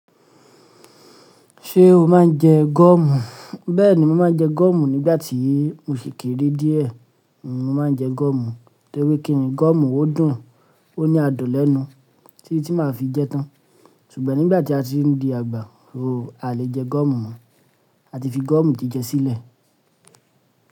Ṣé o máa ń jẹ gọ́ọ̀mù? Bẹ́ẹ̀ni, mo máa ń jẹ gọ́ọ̀mù nígbà tí mo ṣèkéré díẹ̀, mo máa ń jẹ gọ́ọ̀mù. To ri kí ni gọ́ọ̀mù ó dùn, ó ní adùn lẹ́nu, títí tí mo máa fi jẹ tán. Ṣùgbọ́n nígbà tí a ti ń di àgbà, ò a lè jẹ gọ́ọ̀mù mọ́. A ti fi gọ́ọ̀mù jíjẹ sílẹ̀.